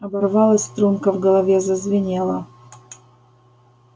оборвалась струнка в голове зазвенела